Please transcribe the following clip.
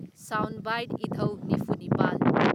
sound bite ꯏꯙꯧ ꯅꯤꯐꯨ ꯅꯤꯄꯥꯜ